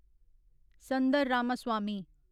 Sundar Ramaswamy